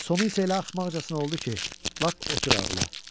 Sonu isə elə axmaqcasına oldu ki, lap otur ağla.